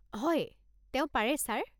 হয়, তেওঁ পাৰে ছাৰ।